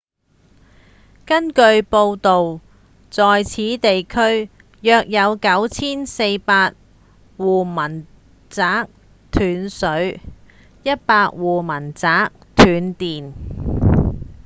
根據報導在此地區約有9400戶民宅斷水100戶民宅斷電